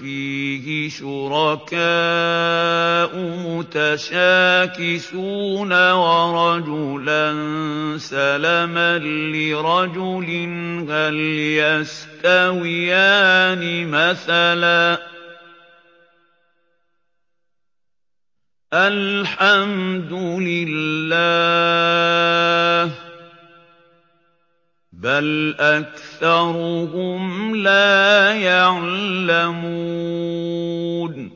فِيهِ شُرَكَاءُ مُتَشَاكِسُونَ وَرَجُلًا سَلَمًا لِّرَجُلٍ هَلْ يَسْتَوِيَانِ مَثَلًا ۚ الْحَمْدُ لِلَّهِ ۚ بَلْ أَكْثَرُهُمْ لَا يَعْلَمُونَ